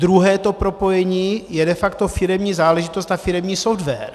Druhé to propojení je de facto firemní záležitost a firemní software.